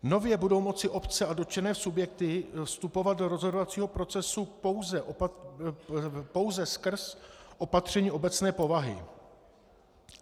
Nově budou moci obce a dotčené subjekty vstupovat do rozhodovacího procesu pouze skrz opatření obecné povahy.